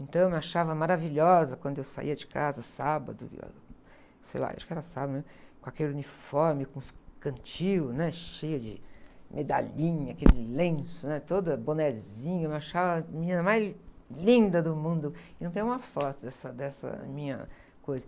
Então eu me achava maravilhosa quando eu saía de casa, sábado, sei lá, acho que era sábado mesmo, com aquele uniforme, com os, cantil, né? Cheia de medalhinha, aquele lenço,, né? Toda... Bonézinho, eu me achava a menina mais linda do mundo, e não tenho uma foto dessa, dessa minha coisa.